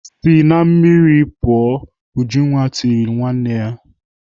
"Si na mmiri pụọ!" Ujunwa tirile nwanne ya.